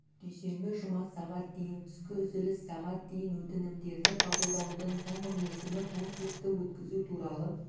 дүйсенбі жұма сағат дейін түскі үзіліс сағат дейін өтінімдерді қабылдаудың соңғы мерзімі конкурсты өткізу туралы